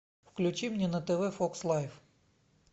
включи мне на тв фокс лайф